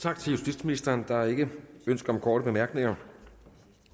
tak til justitsministeren der er ikke ønske om korte bemærkninger og